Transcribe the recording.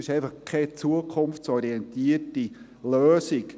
es ist keine zukunftsorientierte Lösung.